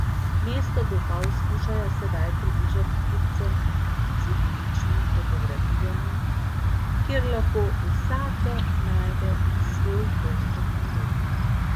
Mesto duhov skušajo sedaj približati kupcem z idiličnimi fotografijami, kjer lahko vsakdo najde svoj košček miru.